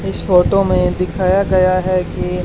इस फोटो में दिखाया गया है कि--